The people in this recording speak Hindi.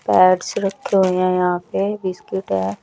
पैड्स रखे हुए हैं यहाँ पे बिस्किट है।